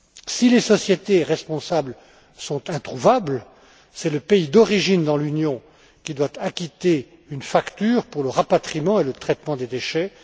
Si les sociétés responsables sont introuvables, c'est le pays d'origine dans l'Union qui doit acquitter une facture pour le rapatriement et le traitement des déchets.